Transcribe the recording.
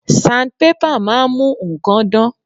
Sandpaper máa ń mú nǹkan dán.